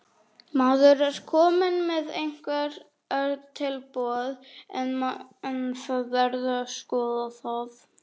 Maður er kominn með einhver tilboð en það verður að skoða það.